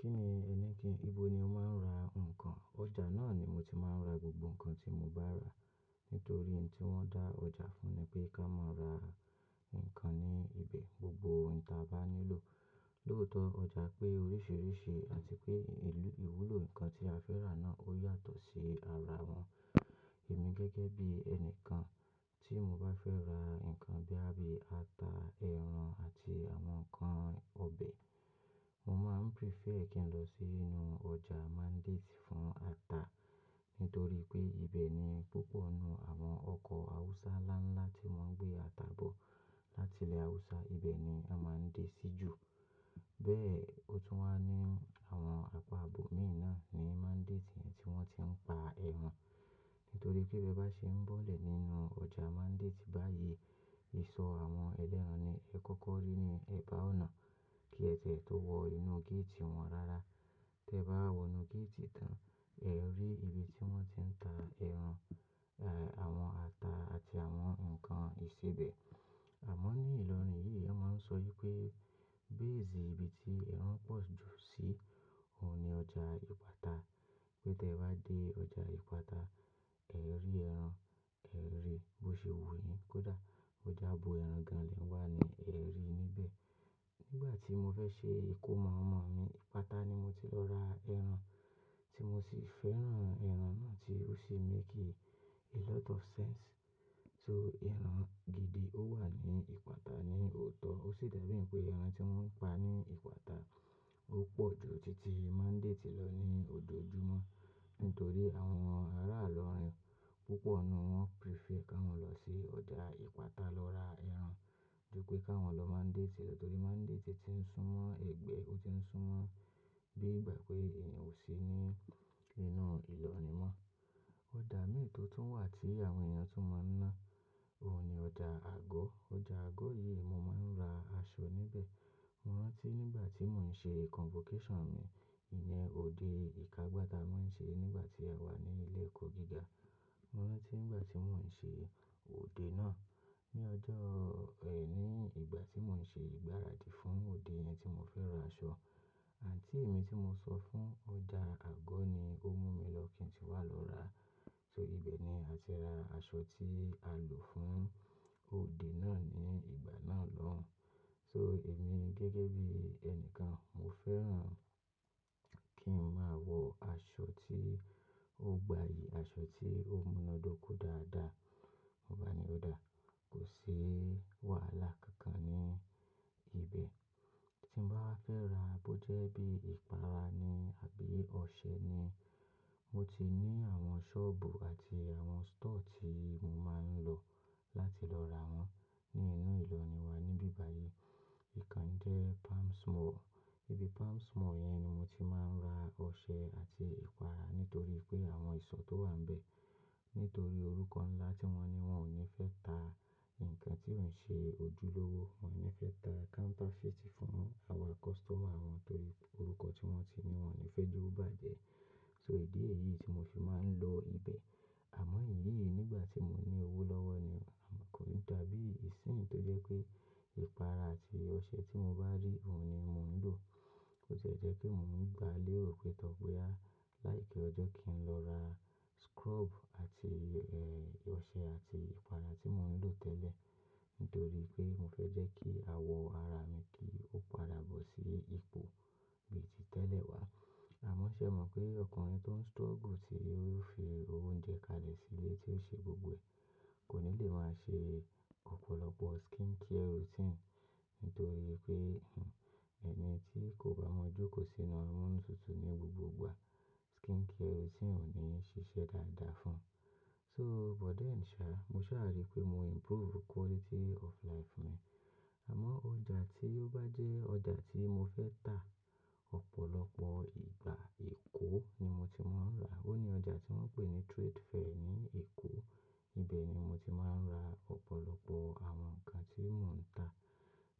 Kí ni, ibo ni o máa ń ra nǹkan? Ọjà náà ni mo ti máa ń ra gbogbo nǹkan tí mo bá rà. Nítorí ohun tí wọ́n dá ọjà fún ni pé ká máa ra nǹkan ní ibẹ̀, gbogbo ohun tí a bá nílò. Lóòótọ́ ọjà pé oríṣiríṣi àti pé ìlú, ìwúlò nǹkan tí a fẹ́ rà náà ó yàtọ̀ sí ara wọn. Èmi gẹ́gẹ́ bí ẹni kan tí mo bá fẹ́ ra nǹkan bíi, bíi ata, ẹran àti àwọn nǹkan ọbẹ̀, mo máa ń prefer kí n lọ sínú ọjà mandate fún ata. Nítorí pé ibẹ̀ ni púpọ̀ nínú àwọn ọkọ̀ Hausa ńlá ńlá tí wọ́n ń gbé ata bọ̀ láti ilẹ̀ Hausa, ibẹ̀ ni wọ́n máa ń dé sí jù. Bẹ́ẹ̀, ó tún wá ní àwọn apá ibọ́ mì náà ni mandate yẹn tí wọ́n ti ń pa ẹran. Nítorí pé bí ẹ bá ṣe ń bọ́lẹ̀ nínú ọjà mandate báyìí, ìsọ̀ àwọn ẹlẹ́ran ni ẹ kọ́kọ́ rí ní ẹ̀bá ọ̀nà kí ẹ ti e tó wọ inú gate wọn rara. Tẹ bá wọ inú gate tán, ẹ rí ibi tí wọ́n ti ń ta ẹran, àwọn ata àti àwọn nǹkan ìsebẹ̀. Àmọ́ ní ìlọrin yìí, wọ́n máa ń sọ wípé base ibi tí ẹ̀ran pọ̀ jù sí, òun ni ọjà Ìpátá. Pé te ba de ọjà ipata é rí ẹran, e ri bo sè wù yín kódà bó je abọ ẹ̀rán lẹ wá ni ẹ rí níbẹ̀. Nígbà tí mo fẹ́ ṣe ìkómọ ọmọ mi, Ìpátá ni mo ti lọ ra ẹran tí mo sì fẹ́ràn ẹran náà tí ó sì make a lot of sense. So ẹran gidi ó wà ní Ìpátá ní òótọ́, ó sì dàbí pé ẹran tí wọ́n ń pa ní Ìpátá ó pọ̀ ju títí mandate lọ ní ojoojúmọ́. Nítorí àwọn ará ìlọrin púpọ̀ ni wọ́n prefer ká mọ̀ lọ sí ọjà Ìpátá lọ ra ẹran. Jù pé ká wọn lọ mandate lọ, torí mandate ti ń sún mọ́ ẹgbẹ́, ó ti ń sún mọ́ bí ìgbà pé èèyàn ò sí ní inú ìlọrin mọ́. Ọjà ìmi tó tún wà tí àwọn èèyàn tún mọ̀ náà, òun ni ọjà. Àgọ́. Ọjà àgọ́ yìí mo máa ń ra aṣọ níbẹ̀. Mo rántí nígbà tí mò ń ṣe convocation mi, ìní ọ̀dẹ ìkágba ta wọ́n ṣe nígbà tí a wà ní ilé ẹ̀kọ́ gíga. Mo rántí nígbà tí mò ń ṣe òde náà, ní ọjọ́, ní ìgbà tí mò ń ṣe ìgbáradì fún òde yẹn tí mo fẹ́ ra aṣọ, aunty mi tí mo sọ fún, ọjà àgọ́ ni ó mú mi lọ kí n tì wá lọ ra. So ibẹ̀ ni a ti ra aṣọ tí a lò fún òde náà ní ìgbà náà lọ́hun. So èmi gẹ́gẹ́ bí ẹni kan, mo fẹ́ràn kí n máa wọ aṣọ tí ó gbayì, aṣọ tí ó múnádóko dáadáa. Mo bá ni ó dáa, kò sí wàhálà kankan ní ibẹ́. Tí n bá wà fẹ́ ra bójẹ́ bí ìpara ni àbí ọṣẹ ni, mo ti ní àwọn shop àti àwọn store tí mọ máa n lò láti lọ ra wọn nínú Ilorin wa níbí báyìí. Ìkan jẹ́ Palms Mall. Ibi Palms Mall yẹn ni mo ti máa ń ra ọṣẹ àti ìpara nítorí pé àwọn ìsọ̀ tó wà n bẹ̀. Nítorí orúkọ ńlá tí wọn ní, wọn ò ní fé tà nǹkan tí ó n ṣe ojúlówó, wọn ò ní fé tà counterfeit fún àwa customer wọn torípé orúkọ tí wọn ti ní, wọn ò ní fe ó bàjẹ́. So ìdí èyí tí mo fi máa ń lọ ibẹ̀. Àmò ìnìyí nígbàtí mo ní owó lọ́wọ́ ni kó lè dàbí ìsinyì tó jẹ́ pé ìpara àti ọṣẹ tí mo bá rí òun ni mo n lò bó ti e jẹ́ pé mò ń gba lérò pé tọ́ bóyá láì kí ọjọ́ kí n lọ ra scrub àti, ọṣẹ àti ìpara tí mò ń lò tẹ́lẹ̀. Nítorí pé mo fẹ́ jẹ́ kí àwọ̀ ara mi kí ó padà bọ̀ sí ipò bí i tí tẹ́lẹ̀ wá. Àmọ́ ṣé ẹ mọ̀ pé ọkùnrin tó ń struggle tí yóò fi owó oúnjẹ kalẹ̀ sílé tí ó ṣe gbogbo ẹ̀, kò ní lè máa ṣe ọ̀pọ̀lọpọ̀ skincare routine. Nítorí pé, ẹni tí kò bá mọ́ jókòó sínú amunutútù ní gbogbo ìgbà, skincare routine ò ní ṣiṣẹ́ dáadáa fún un. So but then sha, mo sáà rí pé mo improve quality of life mi. Àmọ́ ọjà tí ó bá jẹ́ ọjà tí mo fẹ́ tà, ọ̀pọ̀lọpọ̀ ìgbà Èkó ni mo ti máa ń rà. Ó ní ọjà tí wọ́n ń pè ní Trade Fair ní Èkó. Ibẹ̀ ni mo ti máa ń ra ọ̀pọ̀lọpọ̀ àwọn nǹkan tí mò ń tà.